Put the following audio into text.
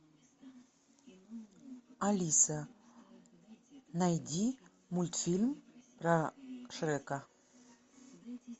алиса найди мультфильм про шрека